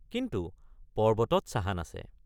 কিন্তু পৰ্বতত চাহান আছে।